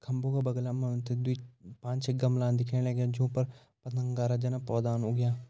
खम्बो का बगल मा दुई पांच छः गमला दिखेण लग्यां जों पर जन पौधा उग्यां।